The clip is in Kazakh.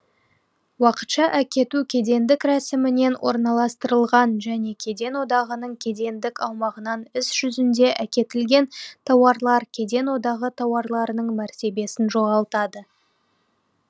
уақытша әкету кедендік рәсімімен орналастырылған және кеден одағының кедендік аумағынан іс жүзінде әкетілген тауарлар кеден одағы тауарларының мәртебесін жоғалтады